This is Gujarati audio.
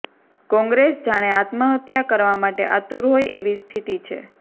કોંગ્રેસ જાણે આત્મહત્યા કરવા માટે આતુર હોય એવી સ્થિતિ છે